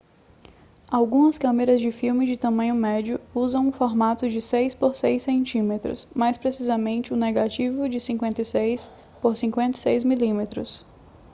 algumas câmeras de filme de tamanho médio usam um formato de 6 por 6 cm mais precisamente um negativo de 56 por 56 mm